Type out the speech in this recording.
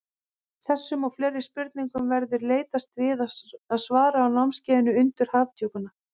Þessum og fleiri spurningum verður leitast við að svara á námskeiðinu Undur Hafdjúpanna.